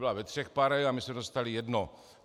Byla ve třech pare a my jsme dostali jedno.